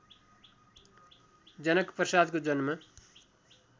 जनकप्रसादको जन्म